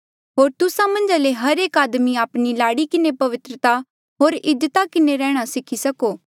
होर तुस्सा मन्झा ले हर एक आदमी आपणी लाड़ी किन्हें पवित्रता होर इज्जता किन्हें रेहणा सीखी सको